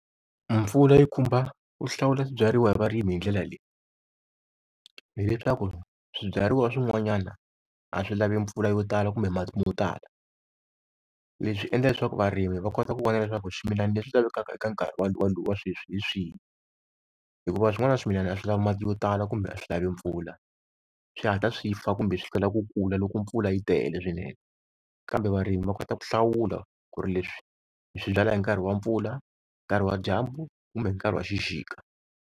Mpfula yi khumba ku hlawula swibyariwa hi varimi hi ndlela leyi, hileswaku swibyariwa swin'wanyana a swi lavi mpfula yo tala kumbe mati mo tala. Leswi endla leswaku varimi va kota ku vona leswaku swimilana leswi lavekaka eka nkarhi wa sweswi hi swihi, hikuva swin'wana swimilana a swi lava mati yo tala kumbe a swi lavi mpfula, swi hatla swi fa kumbe swi kala ku kula loko mpfula yi tele swinene. Kambe varimi va kota ku hlawula ku ri leswi ndzi swi byala hi nkarhi wa mpfula, nkarhi wa dyambu kumbe hi nkarhi wa xixika.